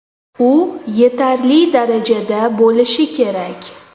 U yetarli darajada bo‘lishi kerak.